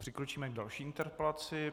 Přikročíme k další interpelaci.